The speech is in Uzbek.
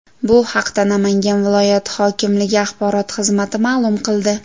Bu haqda Namangan viloyati hokimligi axborot xizmati ma’lum qildi .